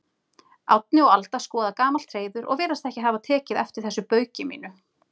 Árni og Alda skoða gamalt hreiður og virðast ekki hafa tekið eftir þessu bauki mínu.